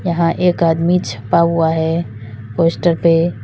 यहां एक आदमी छपा हुआ है पोस्टर पे--